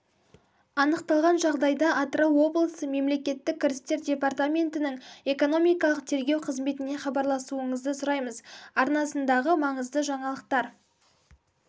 анықталған жағдайда атырау облысы мемлекеттік кірістер департаментінің экономикалық тергеу қызметіне хабарласуыңызды сұраймыз арнасындағы маңызды жаңалықтар